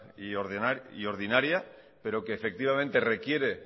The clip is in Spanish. y ordinaria pero requiere